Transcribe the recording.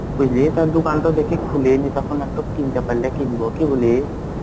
বুঝলে তার দোকানটো দেখে খুলেনি তখন একটু কিনতে পারলে কিনবো. কি বলিস?